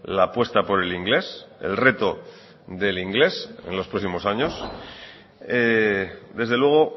la apuesta por el inglés el reto del inglés en los próximos años desde luego